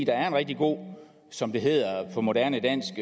er en rigtig god som det hedder på moderne dansk